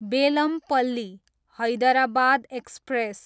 Bellampalli, Hyderabad express